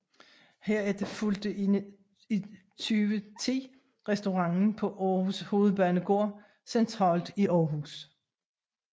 Herefter fulgte i 2010 restauranten på Aarhus Hovedbanegård centralt i Aarhus